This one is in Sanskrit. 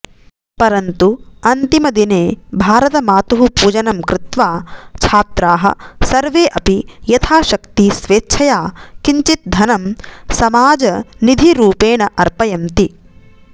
परन्तु अन्तिमदिने भारतमातुः पूजनं कृत्वा छात्राः सर्वे अपि यथाशक्ति स्वेच्छया किञ्चित् धनं समाजनिधिरूपेण अर्पयन्ति